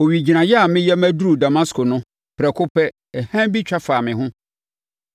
“Owigyinaeɛ a mereyɛ maduru Damasko no, prɛko pɛ, hann bi twa faa me ho.